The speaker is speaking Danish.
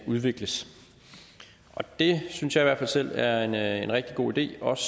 udvikles og det synes jeg i hvert fald selv er en er en rigtig god idé også